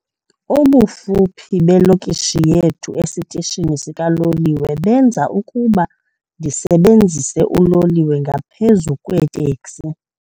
Ubufuphi belokishi yethu esitishini sikaloliwe benza ukuba ndisebenzise uloliwe ngaphezu kweeteksi.